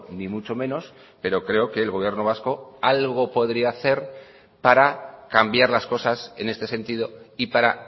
ni mucho menos pero creo que el gobierno vasco algo podría hacer para cambiar las cosas en este sentido y para